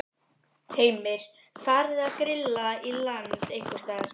Heimir: Farið að grilla í land einhvers staðar?